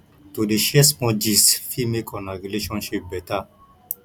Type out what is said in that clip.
to dey share small gist fit make una relationship beta